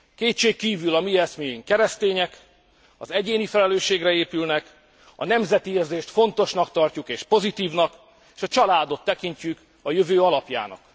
Kétségkívül a mi eszméink keresztények, az egyéni felelősségre épülnek, a nemzeti érzést fontosnak tarjuk és pozitívnak, s a családot tekintjük a jövő alapjának.